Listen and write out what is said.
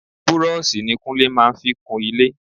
Búrọ́ọ̀sì ní Kúnlé máa ń fi kun ilé.